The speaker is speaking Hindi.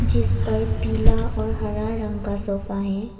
जिस पर पीला और हरा रंग का सोफा है।